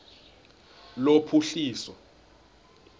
lophuhliso